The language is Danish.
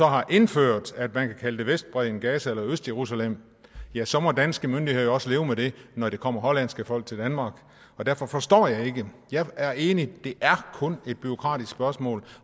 har indført at man kan kalde det vestbredden gaza eller østjerusalem ja så må danske myndigheder jo også leve med det når der kommer hollandske folk til danmark derfor forstår jeg det ikke jeg er enig i at det kun er et bureaukratisk spørgsmål